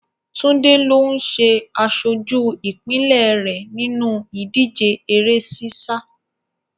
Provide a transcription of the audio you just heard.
Túndé ló ń ṣe aṣojú ìpínlẹ̀ rẹ̀ nínú ìdíje eré sísá.